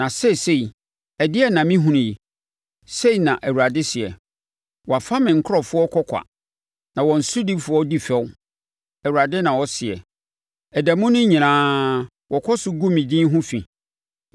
“Na seesei, ɛdeɛn na mehunu yi?” Sei na Awurade seɛ. “Wɔafa me nkurɔfoɔ kɔ kwa, na wɔn sodifoɔ di fɛw,” Awurade na ɔseɛ. “Ɛda mu no nyinaa wɔkɔ so gu me din ho fi.